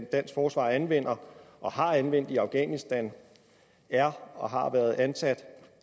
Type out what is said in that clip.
dansk forsvar anvender og har anvendt i afghanistan er og har været ansat